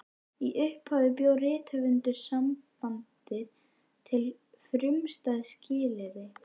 Í upphafi bjó Rithöfundasambandið við frumstæð skilyrði.